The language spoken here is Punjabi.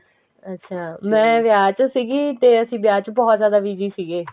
ਅੱਛਾ ਮੈਂ ਵਿਆਹ ਚ ਸੀਗੀ ਤੇ ਅਸੀਂ ਵਿਆਹ ਚ ਬਹੁਤ ਜਿਆਦਾ busy ਸੀਗੇ